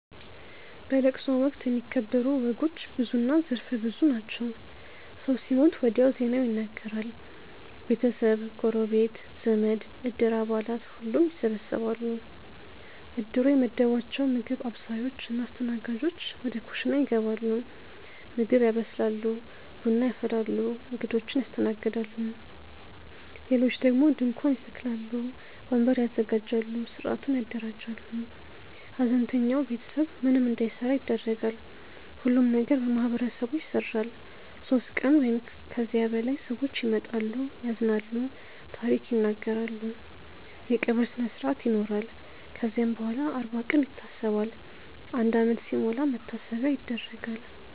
በለቅሶ ወቅት የሚከበሩ ወጎች ብዙና ዘርፈ ብዙ ናቸው። ሰው ሲሞት ወዲያው ዜናው ይነገራል። ቤተሰብ፣ ጎረቤት፣ ዘመድ፣ እድር አባላት ሁሉም ይሰበሰባሉ። እድሩ የመደባቸው ምግብ አብሳዮች እና አስተናጋጆች ወደ ኩሽና ይገባሉ ምግብ ያበስላሉ፣ ቡና ያፈላሉ፣ እንግዶችን ያስተናግዳሉ። ሌሎች ደግሞ ድንኳን ይተክላሉ፣ ወንበር ያዘጋጃሉ፣ ሥርዓቱን ያደራጃሉ። ሐዘንተኛው ቤተሰብ ምንም እንዳይሠራ ይደረጋል። ሁሉም ነገር በማህበረሰቡ ይሰራል። ሦስት ቀን ወይም ከዚያ በላይ ሰዎች ይመጣሉ፣ ያዝናሉ፣ ታሪክ ይናገራሉ። የቀብር ስነስርአት ይኖራል ከዚያም በኋላም አርባ ቀን ይታሰባል፣ አንድ ዓመት ሲሞላም መታሰቢያ ይደረጋል።